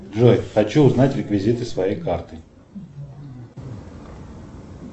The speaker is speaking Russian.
джой хочу узнать реквизиты своей карты